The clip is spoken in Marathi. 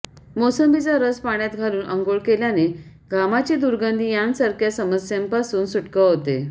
मोसंबीचा रस पाण्यात घालून अंघोळ केल्याने घामाची दुर्गंधी यांसारख्या समस्येंपासून सुटका होते